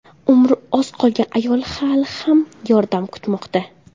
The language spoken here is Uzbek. Umri oz qolgan ayol hali ham yordam kutmoqda.